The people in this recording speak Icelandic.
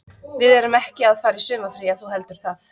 Við erum ekki að fara í sumarfrí ef þú heldur það.